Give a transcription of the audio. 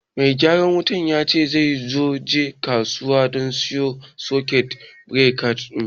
Mai gyaran wutan ya ce zai je kasuwa don siyan sakut birekan